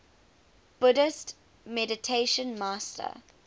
buddhist meditation master